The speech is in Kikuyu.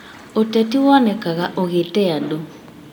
ũteti wonekaga ũgĩte andũ